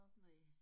Næ